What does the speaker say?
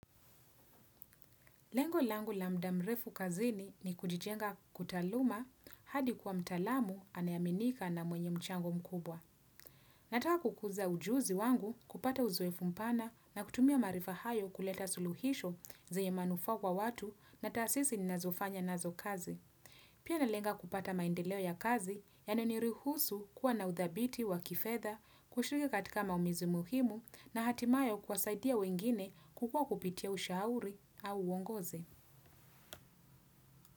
Lengo langu la muda mrefu kazini ni kujijenga kitaaluma hadi kuwa mtaalamu anayeaminika na mwenye mchango mkubwa. Nataka kukuza ujuzi wangu kupata uzoefu mpana na kutumia maarifa hayo kuleta suluhisho zenye manufaa kwa watu na tasisi ninazofanya nazo kazi. Pia nalenga kupata maendeleo ya kazi yanayo niruhusu kuwa na udhabiti wa kifedha kushiriki katika maumizi muhimu na hatimaye kuwasaidia wengine kukua kupitia ushauri au uongozi.